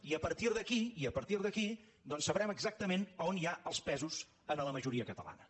i a partir d’aquí i a partir d’aquí doncs sabrem exactament a on hi ha els pesos en la majoria catalana